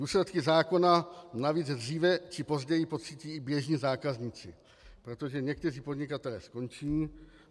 Důsledky zákona navíc dříve či později pocítí i běžní zákazníci, protože někteří podnikatelé skončí.